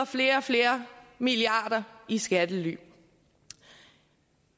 flere og flere milliarder i skattely